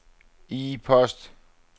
e-post